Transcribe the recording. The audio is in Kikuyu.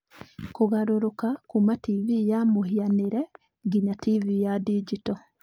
Kũgarũrũka kuuma TV ya mũhianĩre nginya TV ya digito